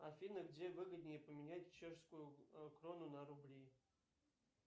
афина где выгоднее поменять чешскую крону на рубли